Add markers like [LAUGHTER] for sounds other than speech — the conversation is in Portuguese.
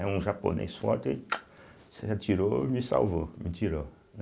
É um japonês forte, aí [CLICKS TONGUE] se atirou e me salvou, me tirou, né?